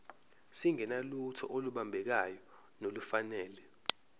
singenalutho olubambekayo nolufanele